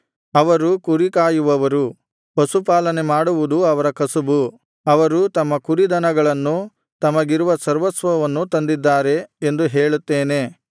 ಅವರು ಕುರಿಕಾಯುವವರು ಪಶುಪಾಲನೆ ಮಾಡುವುದು ಅವರ ಕಸುಬು ಅವರು ತಮ್ಮ ಕುರಿದನಗಳನ್ನೂ ತಮಗಿರುವ ಸರ್ವಸ್ವವನ್ನೂ ತಂದಿದ್ದಾರೆ ಎಂದು ಹೇಳುತ್ತೇನೆ